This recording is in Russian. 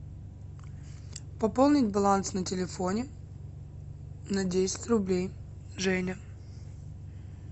пополнить баланс на телефоне на десять рублей женя